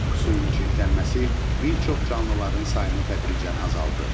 Suyun çirklənməsi bir çox canlıların sayını tədricən azaldır.